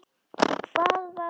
Og hvað var nú þetta!